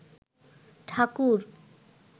ঠাকুর